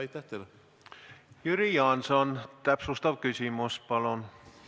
Jüri Jaanson, täpsustav küsimus palun!